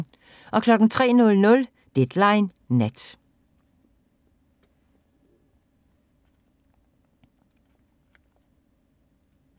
03:00: Deadline Nat